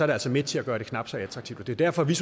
det altså med til at gøre det knap så attraktivt det er derfor vi